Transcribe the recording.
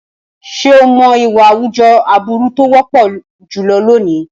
Ṣé o mọ̀ ìwà àwùjọ aburú tó wọ́pọ̀ jùlọ lónìí?